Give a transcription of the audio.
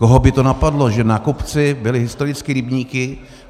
Koho by to napadlo, že na kopci byly historicky rybníky?